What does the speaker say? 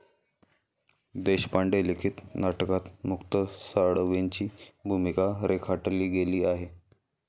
देशपांडे लिखित नाटकात मुक्त साळवेंची भूमिका रेखाटली गेली आहे.